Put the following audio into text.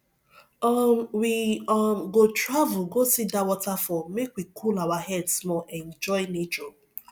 um we um go travel go see dat waterfall make we cool our head small enjoy nature